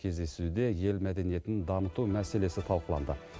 кездесуде ел мәдениетінің дамыту мәселесі тадқыланды